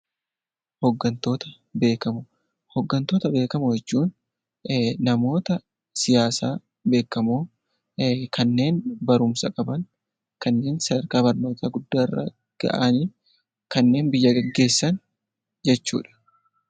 Hoggantoota Beekamoo: Hoggantoota beekamoo jechuun namoota siyaasaa beekamoo kanneen barumsa qaban, kanneen sadarkaa barnootaa guddaa irra gahan, kanneen biyya gaggeessan jechuudha.